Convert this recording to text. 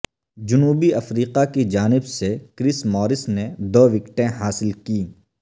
جنوبی افریقہ کی جانب سے کرس مورس نے دو وکٹیں حاصل کیں